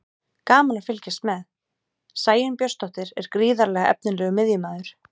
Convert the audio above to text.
Gaman að fylgjast með: Sæunn Björnsdóttir er gríðarlega efnilegur miðjumaður.